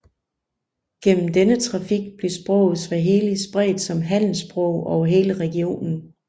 Gennem denne trafik blev sproget swahili spredt som handelssprog over hele regionen